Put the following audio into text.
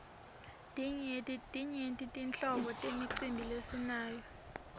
timyenti tinhlobo temicimbi lesinayo